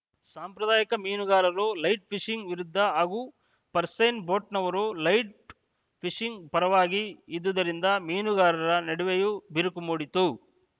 ಸಾಂಪ್ರದಾಯಿಕ ಮೀನುಗಾರರು light fishing ವಿರುದ್ಧ ಹಾಗೂ ಪರ್ಸೈನ್‌ ಬೋಟ್‌ನವರು ಲೈಟ್‌ ಫಿಶಿಂಗ್‌ ಪರವಾಗಿ ಇದ್ದುದರಿಂದ ಮೀನುಗಾರರ ನಡುವೆಯೇ ಬಿರುಕು ಮೂಡಿತು